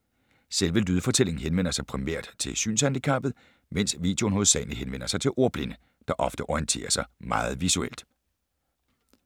- Selve lydfortællingen henvender sig primært til synshandicappede, mens videoen hovedsageligt henvender sig til ordblinde, der ofte orienterer sig meget visuelt.